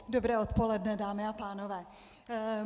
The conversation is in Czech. Dobré odpoledne, dámy a pánové.